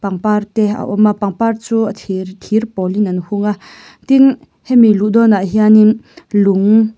pangpar te a awm a pangpar chu a thir thir pawl in an hung a tin hemi luh dawn ah hianin lung--